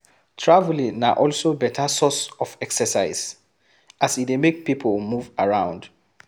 Travelling na also better source of exercise, as e dey make pipo move around